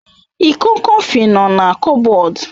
Iko Kọfị no na kupbod